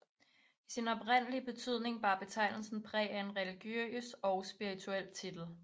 I sin oprindelige betydning bar betegnelsen præg af en religiøs og spirituel titel